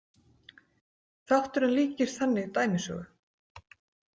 Þátturinn líkist þannig dæmisögu.